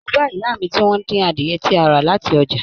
Mó bá ìyá mí tí wọn n dín adiẹ tí a rà láti ọjà.